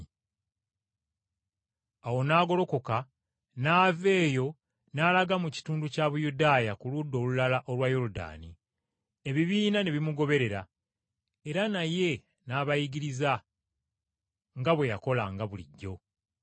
Awo n’agolokoka n’ava eyo n’alaga mu kitundu kya Buyudaaya okusukka emitala wa Yoludaani. Ebibiina ne bimuguberera era naye n’abayigiriza nga bwe yakolanga bulijjo.